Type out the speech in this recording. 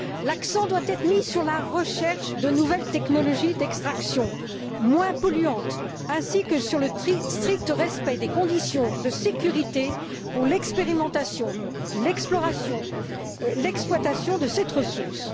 L'accent doit être mis sur la recherche de nouvelles technologies d'extraction moins polluantes ainsi que sur le strict respect des conditions de sécurité pour l'expérimentation, l'exploration et l'exploitation de cette ressource.